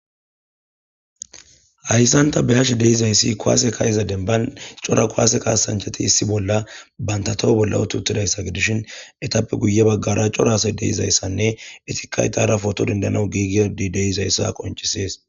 hayssan ta beyashshe de'izayssi kuwaase ka'iza demban cora kuwasse kaasanchcheti issi bolla banta toho bolla uti uttidayssa gidishin etappe guye baggara cora assa deizayssanne itikay dara potto dendanaw giigidi deizayssa qoncisees